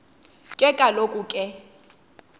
ke kaloku ke